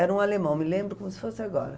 Era um alemão, me lembro como se fosse agora.